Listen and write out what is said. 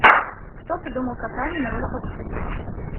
кто придумал катание на роликовых коньках